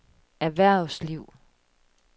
erhvervsliv